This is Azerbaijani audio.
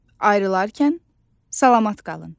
Ayrılarkən sağalamat qalın.